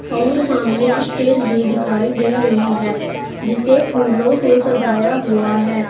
और सामने स्टेज भी दिखाई दे रही है जिसे फूलों से सजाया हुआ है।